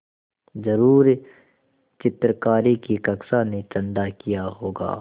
ज़रूर चित्रकारी की कक्षा ने चंदा किया होगा